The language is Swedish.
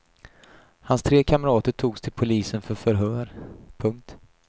Hans tre kamrater togs till polisen för förhör. punkt